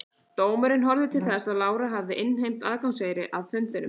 Dómurinn horfði til þess að Lára hafði innheimt aðgangseyri að fundunum.